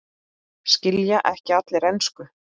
Skilja ekki allir ensku?